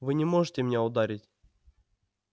вы не можете меня ударить